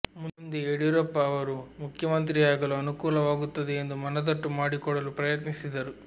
ಮುಂದೆ ಯಡಿಯೂರಪ್ಪ ಅವರು ಮುಖ್ಯಮಂತ್ರಿಯಾಗಲು ಅನುಕೂಲವಾಗುತ್ತದೆ ಎಂದು ಮನದಟ್ಟು ಮಾಡಿಕೊಡಲು ಪ್ರಯತ್ನಿಸಿದರು